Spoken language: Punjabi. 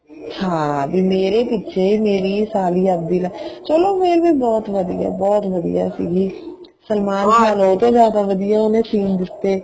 ਹਾਂ ਵੀ ਮੇਰੇ ਮੇਰੀ ਸਾਲੀ ਲੱਗਦੀ ਆ ਚਲੋ ਇਹ ਵੀ ਬਹੁਤ ਵਧੀਆ ਬਹੁਤ ਵਧੀਆ ਸੀਗੀ ਸਲਮਾਨ ਖਾਨ ਉਹਤੋਂ ਜਿਆਦਾ ਵਧੀਆ ਉਹਨੇ seen ਦਿੱਤੇ